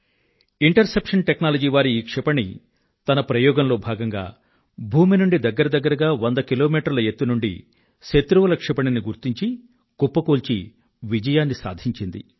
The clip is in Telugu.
ఇంటర్ సెప్షన్ టెక్నాలజీ వారి ఈ క్షిపణి తన ప్రయోగంలో భాగంగా భూమి నుండి దగ్గర దగ్గరగా 100 కిలోమీటర్ల ఎత్తు నుండి శత్రువుల క్షిపణిని గుర్తించి కుప్పకూల్చి విజయాన్ని సాధించింది